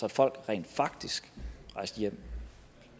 at folk rent faktisk rejste hjem